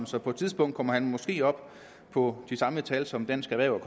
så på et tidspunkt kommer han måske op på de samme tal som dansk erhverv